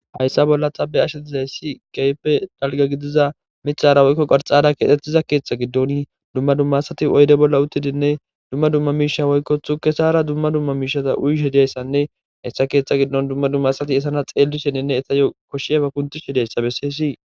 hayssa bolla xabe ashe dizayssi geyppe dalga gidiza micara woykko qarxada keetettiza keexta giddon dumma dumma sati oyde bolla uttidinne dumma dumma miisha woykkothu kesara dumma dumma miishata uyishe diyayssanne hessa keexhta giddon dumma dumma sati esana xeelli sheninne esa yo koshshieba kunti she dayssa besseyssii